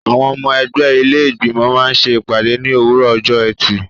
Àwọn ọmọ ẹgbẹ́ ilé Ìgbìmọ̀ máa ṣe ìpàdé ní òwúrọ̀ ọjọ́ ẹtì.